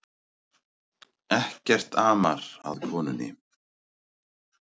Ekkert amar að konunni